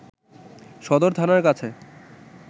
সদর থানার কাছে